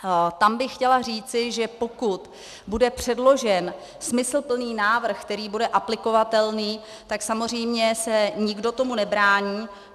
Tam bych chtěla říci, že pokud bude předložen smysluplný návrh, který bude aplikovatelný, tak samozřejmě se nikdo tomu nebrání.